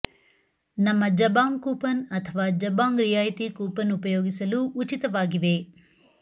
ನಮ್ಮ Jabong coupon ಅಥವಾ Jabong ರಿಯಾಯಿತಿ ಕೂಪನ್ ಉಪಯೋಗಿಸಲು ಉಚಿತವಾಗಿವೆ